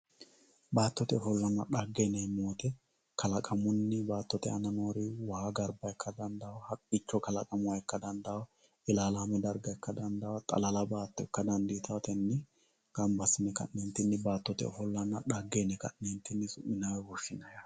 baattote ofollonna xagge yineemmoti kalaqamunni baattote aana noori waa garba ikka dandawoo haqqicho kalaqama ikka dandawoo olaalaame darga ikka dandawoo xalala baatto ikka dandiitawoo tenne gamba assine ka'neentinni baattote ofollonna xaagge yine ka'neentinni su'minay woy woshshinay yaate